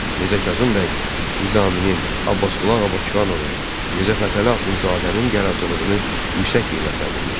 Mirzə Kazım bəy Nizaminin, Abbasqulu Ağa Bakıxanovun, Mirzə Fətəli Axundzadənin yaradıcılığını yüksək qiymətləndirmişdi.